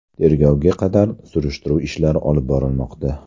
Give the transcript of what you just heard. Tergovga qadar surishtiruv ishlari olib borilmoqda.